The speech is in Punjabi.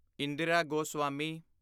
ਇੰਦਿਰਾ ਗੋਸਵਾਮੀ